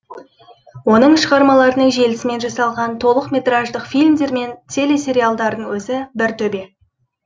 оның шығармаларының желісімен жасалған толық метраждық фильмдер мен телесериалдардың өзі бір төбе